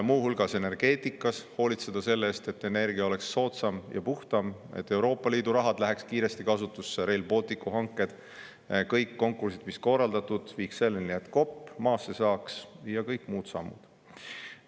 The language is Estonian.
Muu hulgas energeetikas hoolitseda selle eest, et energia oleks soodsam ja puhtam, et Euroopa Liidu raha läheks kiiresti kasutusse, Rail Balticu hanked, et kõik konkursid, mis on korraldatud, viiksid selleni, et kopp maasse saaks, ja kõik muud sammud.